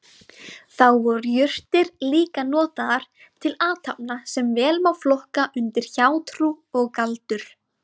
Þá voru jurtir líka notaðar til athafna sem vel má flokka undir hjátrú og galdur.